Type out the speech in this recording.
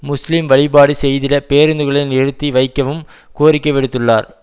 முஸ்லிம் வழிபாடு செய்திட பேருந்துகளை நிறுத்தி வைக்கவும் கோரிக்கை விடுத்துள்ளார்